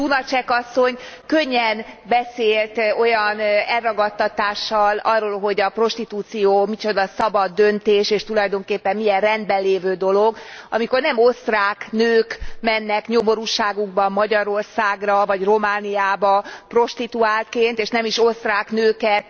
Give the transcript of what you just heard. Lunacek asszony könnyen beszélt olyan elragadtatással arról, hogy a prostitúció micsoda szabad döntés, és tulajdonképpen milyen rendben lévő dolog, amikor nem osztrák nők mennek nyomorúságukban Magyarországra vagy Romániába prostituáltként, és nem is osztrák nőket